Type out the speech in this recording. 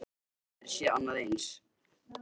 Þeir höfðu aldrei séð annað eins.